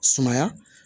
Sumaya